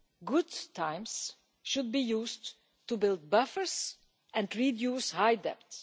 Good times should be used to build buffers and reduce high debts.